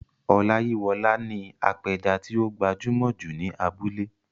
Ọláyíwọlá ni apẹja tí ó gbajúmọ̀ jù ní abúlé.